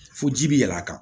Fo ji bi yɛlɛ a kan